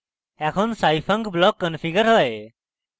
এখন scifunc block configured হয়